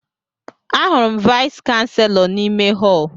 Ahụrụ m Vais kanselọ n'ime họl